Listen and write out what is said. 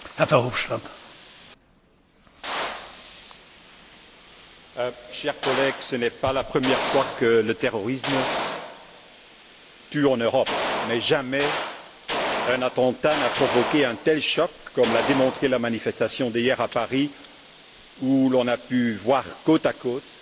Monsieur le Président, chers collègues, ce n'est pas la première fois que le terrorisme tue en Europe, mais jamais un attentat n'a provoqué un tel choc, comme l'a démontré la manifestation d'hier à Paris où l'on a pu voir côte à côte